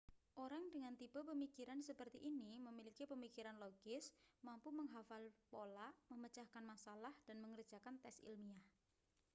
orang dengan tipe pemikiran seperti ini memiliki pemikiran logis mampu menghafal pola memecahkan masalah dan mengerjakan tes ilmiah